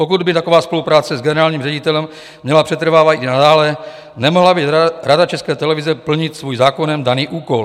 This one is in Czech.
Pokud by taková spolupráce s generálním ředitelem měla přetrvávat i nadále, nemohla by Rada České televize plnit svůj zákonem daný úkol.